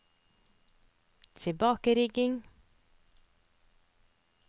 tilbakeringing